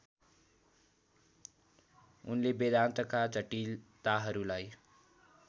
उनले वेदान्तका जटिलताहरूलाई